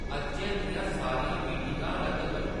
अज्जै दियां सारियां मीटिंग ां रद्द करो